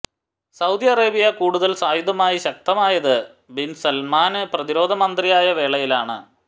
Saudi Arabia കൂടുതല് സായുധമായി ശക്തമായത് ബിന് സല്മാന് പ്രതിരോധ മന്ത്രിയായ വേളയിലാണ്